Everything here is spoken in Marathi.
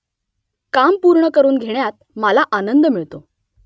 काम पूर्ण करून घेण्यात मला आनंद मिळतो